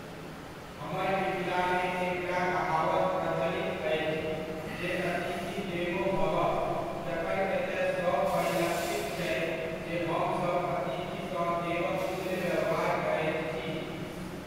हमर मिथिलामे एकटा कहावत प्रचलित अछि, जे अतिथि देवो भवः जखन एतय सब परिलक्षित छै जे हमसब अतिथि सँ देवक तुल्य व्यवहार करैत छी।